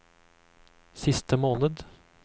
siste måned